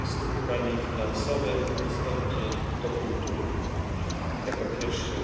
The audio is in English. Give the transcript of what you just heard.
We are, of course, also aware of the measures taken by the United States, China and by some of the EU Member States.